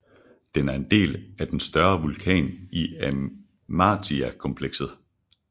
Den er en del af den større vulkan i Amiatakomplekset